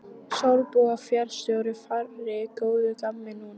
Sólborg fararstjóri fjarri góðu gamni núna.